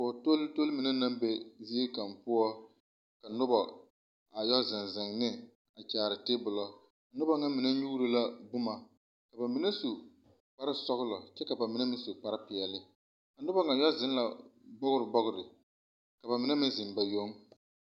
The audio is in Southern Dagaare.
Kogi tol-tol mine naŋ be zie kaŋ poͻ, ka noba a yԑ zeŋ zeŋ ne a kyaare teebolͻ. Noba ŋa mine nyuuro la boma. Ka ba mine su kpare-sͻgelͻ ka ba mine meŋ su kpare-peԑle. A noba ŋa yԑ la bͻgere bͻgere, ka ba mine meŋ zeŋ ba yoŋ.